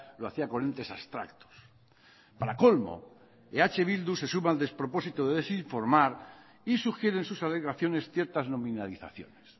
lo hacía con entes abstractos para colmo eh bildu se suma al despropósito de desinformar y sugiere en sus alegaciones ciertas nominalizaciones